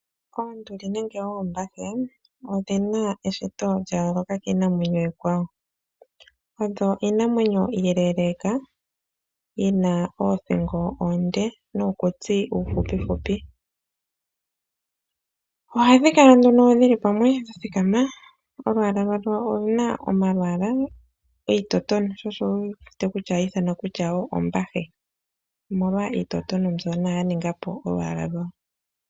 Oonduli nenge oombahe odhina eshito lya yooloka kiinamwenyo iikwawo. Odho iinamwenyo iileeleeka yi na oothingo oonde nuukutsi uufupifupi. Ohadhi kala nduno dhili pamwe dha thikama. Olwaala lwadho oluna omalwaala iitotone sho osho wu wete kutya ohayi ithanwa kutya woo ombahe, omolwa iitotone mbyono ya ninga po olwaala lwawo.